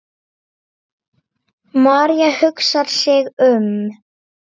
María hugsar sig um.